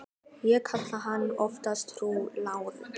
Ég kalla hana oftast frú Láru.